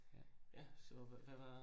Ja, ja. Så hvad var?